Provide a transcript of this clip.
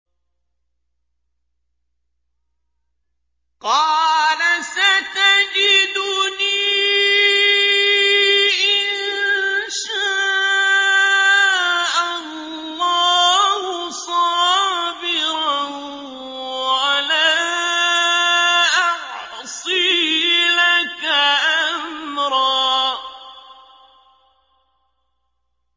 قَالَ سَتَجِدُنِي إِن شَاءَ اللَّهُ صَابِرًا وَلَا أَعْصِي لَكَ أَمْرًا